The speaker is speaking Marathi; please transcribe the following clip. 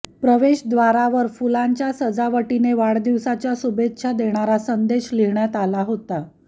प्रवेशद्वारावर फुलांच्या सजावटीने वाढदिवसाच्या शुभेच्छा देणारा संदेश लिहिण्यात आला होता